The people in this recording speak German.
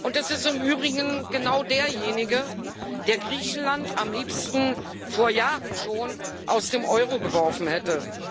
Das ist im übrigen genau derjenige, der Griechenland am liebsten vor Jahren schon aus dem Euro geworfen hätte.